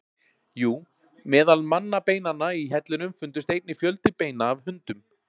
Jú, meðal mannabeinanna í hellinum fundust einnig fjöldi beina af hundum.